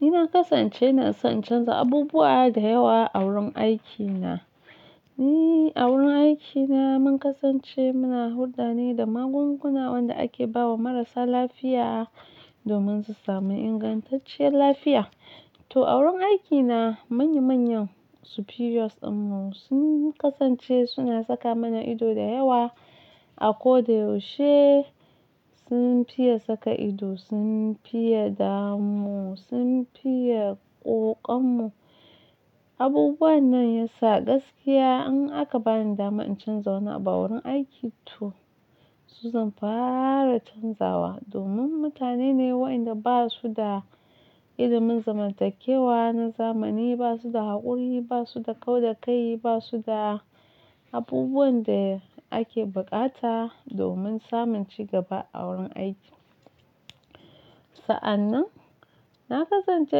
Ni na kasance ina son in canza abubuwa da yawa a wurin aikina. Ni a wurin aikina mun kasance muna hulda ne da magunguna wanda ake ba wa marasa lafiya domin su sami ingantacciyar lafiya. To a wurin aikina manya manyan superiors dinmu sun kasance suna saka mana ido da yawa. A koda yaushe sun fiye saka ido, sun fiye damu, sun fiye ƙoƙa mu. Abubuwan nan ya sa gaskiya in aka bani dama in canza wani abu a wurin aiki to su zan fara canzawa domin mutane ne waɗanda ba su da ilimin zamantakewa na zamani, ba su da haƙuri, ba su da kauda kai, ba su da abubuwan da ake buƙata domin samun cigaba a wurin aiki. Sa'an nan na kasance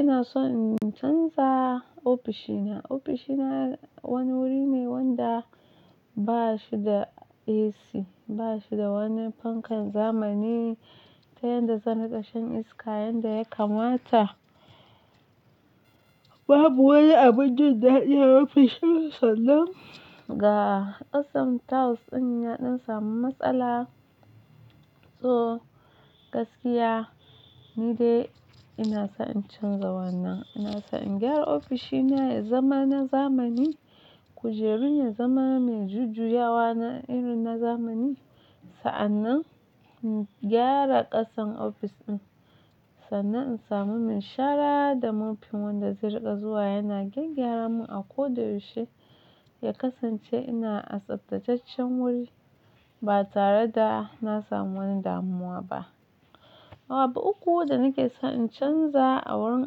ina so in canza ofishina. Ofishina wani wuri ne wanda ba shi da AC, ba shi da wani fankan zamani ta yanda zai naɗe shan iska yanda ya kamata. Babu wani abun jin dadi ya iya rufe shi misali ga ƙasan tiles din yaɗin samun matsala. To gaskiya ni dai ina so in canza wannan. Ina so in gyara ofishina ya zama na zamani. Kujerun ya zama mai jujjuyawa na irin na zamani. Sa'an nan in gyara ƙasan ofis ɗin. Sannan in samu mai shara da mofin wanda zai riƙa zuwa yana gyagyaara mu a ko da yaushe ya kasance ina a tsaftatacaccen wuri ba tare da na samu wani damuwa ba. Abu uku da nake so in canza a wurin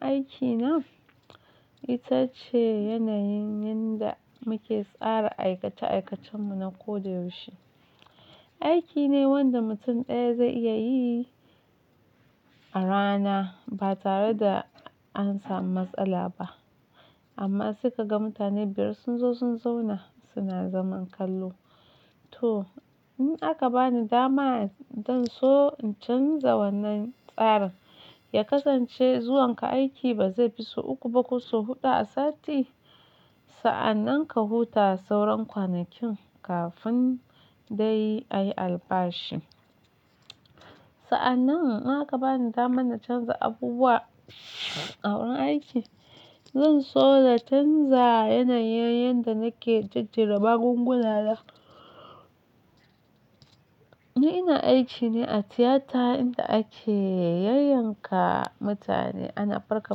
aikina ita ce yanayin yanda muke tsara aikace aikacen mu na ko da yaushe. Aiki ne wanda mutum ɗaya zai iya yi a rana ba tare da an sami matsala ba. Amma sai ka ga mutane biyar sun zo sun zauna suna zaman kallo. To in aka bani dama zan so in canza wannan tsarin, ya kasance zuwanka aiki ba zai fi sau uku ba ko sau huɗu a sati. Sa'an nan ka huta sauran kwanakin kafin dai ayi albashi. Sa'an nan in aka bani dama na canza abubuwa a wurin aiki, zan so na canza yanayin yanda nake jejjera magunguna da. Ni ina aiki ne a tiyata inda ake yayyanka mutane, ana farka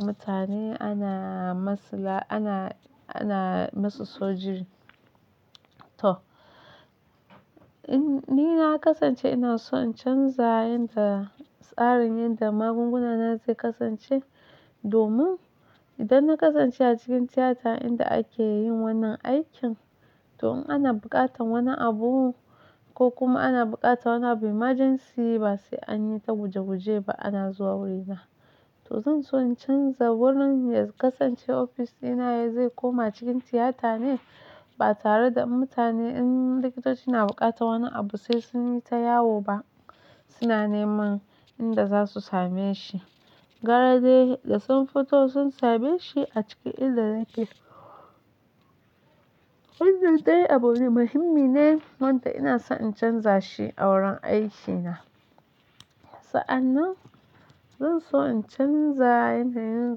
mutane, ana masla, ana, ana masu sujuri. To in ni na kasance ina so in canza yanda tsarin yadda magunguna na zai kasance domin idan na kasance a cikin tiyata inda ake yin wannan aikin to in ana buƙatar wani abu ko kuma ana buƙatar wani abu emergency ba sai an yi ta guje guje ba ana zuwa wurina. To zan so in canza wurin ya kasance ofisina ya zai koma cikin tiyata ne ba tare da mutane in likitoci na buƙatar wani abu sai sun yi ta yawo ba. Suna neman inda za su same shi. Gara dai da sun fito sun same shi a ciki inda yake. Wannan ɗaya abu ne muhimmi ne wanda ina so in canza shi a wurin aikina. Sa'an nan zan so in canza yanayin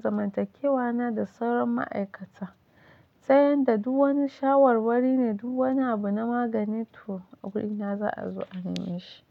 zamantakewa na da sauran ma'aikata ta yanda duk wani shawarwari ne duk wani abu na magani to a wurina za a zo a neme shi.